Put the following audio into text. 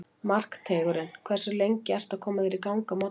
Markteigurinn Hversu lengi ertu að koma þér í gang á morgnanna?